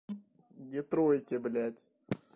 в детройде блядь